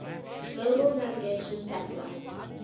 global navigation satellite